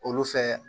Olu fɛ